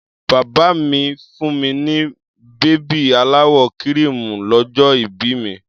Bàbá mi fún mi ní bèbí aláwọ̀ kíríìmù lọ́jọ́ ìbí mi.